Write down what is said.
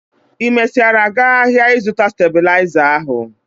Ị mesiara gaa áhiá ịzụta stabịlaịza ahụ?